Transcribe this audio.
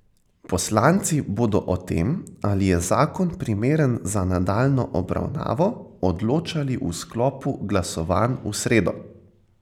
Poslanci bodo o tem, ali je zakon primeren za nadaljnjo obravnavo, odločali v sklopu glasovanj v sredo.